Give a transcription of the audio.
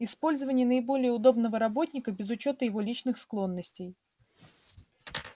использование наиболее удобного работника без учёта его личных склонностей